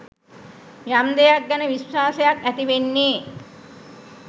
යම් දෙයක් ගැන විශ්වාසයක් ඇති වෙන්නේ